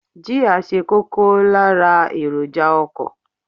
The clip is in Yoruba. Jia ṣe kókó lára èròjà ọkọ.